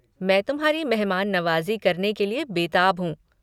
मैं तुम्हारी मेहमान नवाज़ी करने के लिए बेताब हूँ।